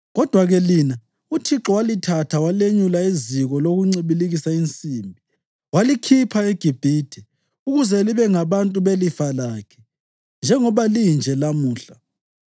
Kodwa-ke lina, uThixo walithatha walenyula eziko lokuncibilikisa insimbi, walikhipha eGibhithe, ukuze libe ngabantu belifa lakhe, njengoba linje lamuhla.